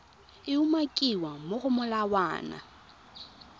e umakiwang mo go molawana